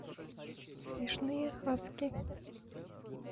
смешные хаски